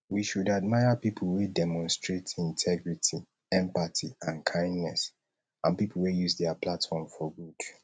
we should admire people wey demonstrate integrity empathy and kindness and people wey use dia platform for good